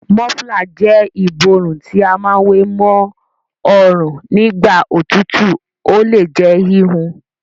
Mọ́flà jẹ́ ìborùn tí a má wé ma ọrùn nígbà òtútù. Ó le jẹ́ híhun.